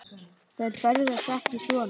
Þær ferðast ekki svona.